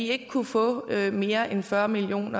ikke kunne få mere end fyrre million